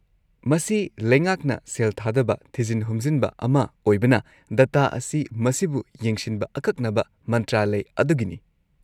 -ꯃꯁꯤ ꯂꯩꯉꯥꯛꯅ ꯁꯦꯜ ꯊꯥꯗꯕ ꯊꯤꯖꯤꯟ ꯍꯨꯝꯖꯤꯟꯕ ꯑꯃ ꯑꯣꯏꯕꯅ, ꯗꯇꯥ ꯑꯁꯤ ꯃꯁꯤꯕꯨ ꯌꯦꯡꯁꯤꯟꯕ ꯑꯀꯛꯅꯕ ꯃꯟꯇ꯭ꯔꯥꯂꯢ ꯑꯗꯨꯒꯤꯅꯤ꯫